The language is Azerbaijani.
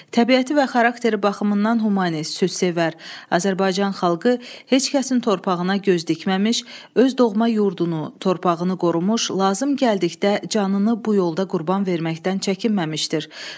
Təbiəti və xarakteri baxımından humanist, sülhsevər Azərbaycan xalqı heç kəsin torpağına göz dikməmiş, öz doğma yurdunu, torpağını qorumuş, lazım gəldikdə canını bu yolda qurban verməkdən çəkinməmişdir.